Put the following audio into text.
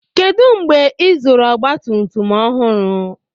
kedu mgbe ịzụrụ ọgbatumtum ọhụrụ